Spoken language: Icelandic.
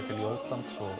og